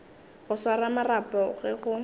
go swara marapo ge go